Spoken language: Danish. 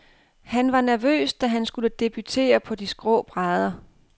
Han var nervøs, da han skulle debutere på de skrå brædder.